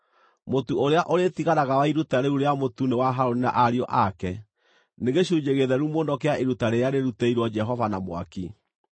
Mũtu ũrĩa ũrĩtigaraga wa iruta rĩu rĩa mũtu nĩ wa Harũni na ariũ ake; nĩ gĩcunjĩ gĩtheru mũno kĩa iruta rĩrĩa rĩrutĩirwo Jehova na mwaki.